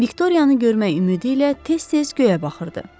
Viktoriyanı görmək ümidi ilə tez-tez göyə baxırdı.